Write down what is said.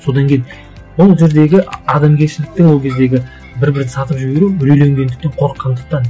содан кейін ол жердегі адамгершіліктің ол кездегі бір бірін сатып жіберу үрейленгендіктен қорыққандықтан